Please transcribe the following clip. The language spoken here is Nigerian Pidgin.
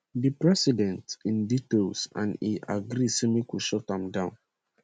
[di president] in detail and e agree say make we shut am down